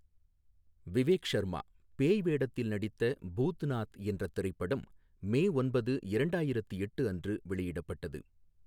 விவேக் ஷர்மா பேய் வேடத்தில் நடித்த பூத்நாத் என்ற திரைப்படம், மே ஒன்பது, இரண்டாயிரத்து எட்டு அன்று வெளியிடப்பட்டது.